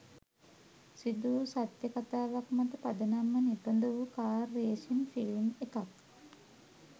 සිදුවූ සත්‍ය කතාවක් මත පදනම්ව නිපදවූ කාර් රේසින් ෆිල්ම් එකක්.